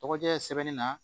Tɔgɔdiya sɛbɛn na